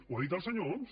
ho ha dit el senyor homs